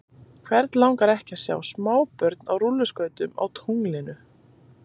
Hvern langar ekki að sjá smábörn á rúlluskautum á tunglinu?